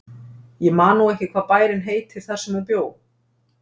Ég man nú ekki hvað bærinn heitir þar sem hún bjó.